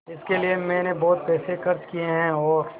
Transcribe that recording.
इसके लिए मैंने बहुत पैसे खर्च किए हैं और